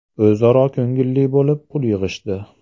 O‘zaro ko‘ngilli bo‘lib, pul yig‘ishdi.